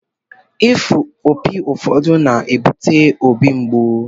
Ịfụ opi ụfọdụ na-ebute óbị mgbu